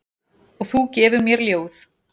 Og þú gefur mér ljóð.